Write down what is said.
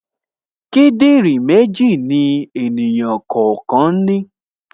Kíndìnrín méjì ni ènìyàn kọ̀ọ̀kan ní